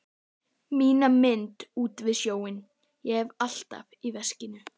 Mína mynd út við sjóinn hef ég alltaf í veskinu.